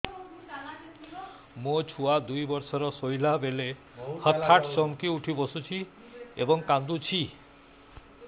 ମୋ ଛୁଆ ଦୁଇ ବର୍ଷର ଶୋଇଲା ବେଳେ ହଠାତ୍ ଚମକି ଉଠି ବସୁଛି ଏବଂ କାଂଦୁଛି